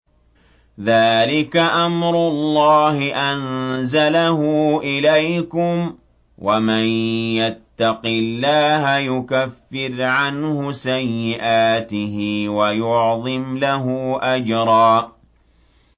ذَٰلِكَ أَمْرُ اللَّهِ أَنزَلَهُ إِلَيْكُمْ ۚ وَمَن يَتَّقِ اللَّهَ يُكَفِّرْ عَنْهُ سَيِّئَاتِهِ وَيُعْظِمْ لَهُ أَجْرًا